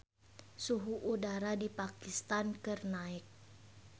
Suhu udara di Pakistan keur naek